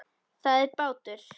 Það er bátur.